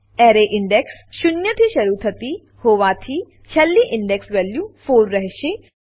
array index શૂન્યથી શરુ થતી હોવાથી છેલ્લી ઇન્ડેક્સ વેલ્યુ 4 રહેશે